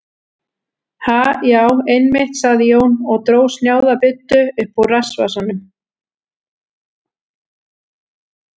Ha, já, einmitt, sagði Jón og dró snjáða buddu upp úr rassvasanum.